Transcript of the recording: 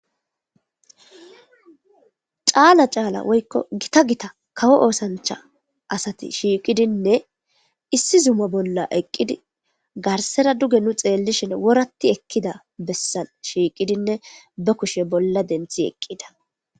Caala caala woyko Gita Gita kawo osancha asati shiqidinne issi Zuma bolla eqid garsera duge nu xelishn worat ekida besan eqid be kushe bolla denthi eqida.